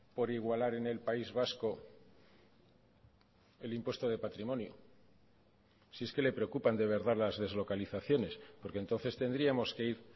por igualar en el país vasco el impuesto de patrimonio si es que le preocupan de verdad las deslocalizaciones porque entonces tendríamos que ir